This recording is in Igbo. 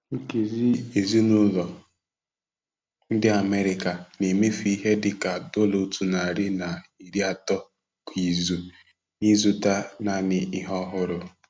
Nkezi ezinụlọ ndị America na-emefu ihe dịka dollar otu nari na iri atọ kwa izu n'ịzụta naanị ihe ọhụrụ.